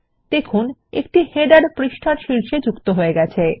দেখুন একটি শিরোলেখ পৃষ্ঠার শীর্ষে যোগ হয়ে গেছে